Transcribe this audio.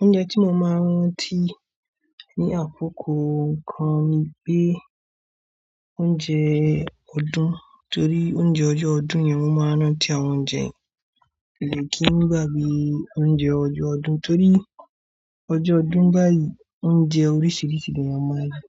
Oúnjẹ tí mo máa ń rántí ní àkókò kan ni pé oúnjẹ ọdún torí oúnjẹ ọjọ́ ọdún yẹn wọ́n máa ń rán tí àwọn oúnjẹ mi o kí n gbagbe oúnjẹ ọjọ́ ọdún torí ọjọ́ ọdún báyìí oúnjẹ oríṣìíríṣìí ni a máa ń rí.